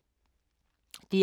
DR1